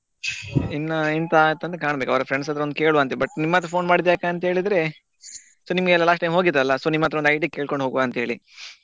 ಇನ್ನ ಎಂತ ಆಗ್ತದೆ ಅಂತ ಕಾಣ್ಬೇಕು ಅವರ friends ಹತ್ರ ಒಂದು ಕೇಳುವಾ ಅಂತ ನಿಮ್ ಹತ್ರ phone ಮಾಡಿದ್ ಯಾಕ್ ಅಂದ್ರೆ ಹೇಳಿದ್ರೆ so ನಿಮ್ಗೆಲ್ಲ last time ಹೋಗಿದ್ರ್ ಅಲ so ನಿಮ್ ಹತ್ರ ಒಂದ್ idea ಕೇಳ್ಕೊಂಡ್ ಹೋಗುವ ಅಂತ ಹೇಳಿ.